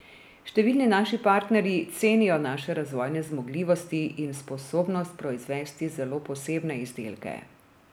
Številni naši partnerji cenijo naše razvojne zmogljivosti in sposobnost proizvesti zelo posebne izdelke.